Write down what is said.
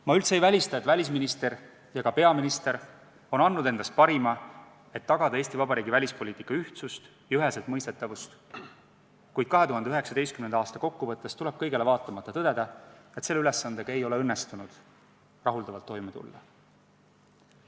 Ma üldse ei välista, et välisminister ja ka peaminister on andnud endast parima, et tagada Eesti Vabariigi välispoliitika ühtsust ja üheselt mõistetavust, kuid 2019. aasta kokkuvõttes tuleb kõigele vaatamata tõdeda, et selle ülesandega ei ole õnnestunud rahuldavalt toime tulla.